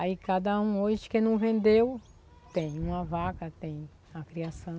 Aí cada um hoje que não vendeu, tem uma vaga, tem a criação.